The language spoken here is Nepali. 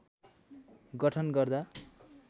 गठन गर्दा